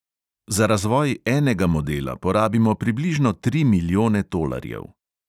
Za razvoj enega modela porabimo približno tri milijone tolarjev.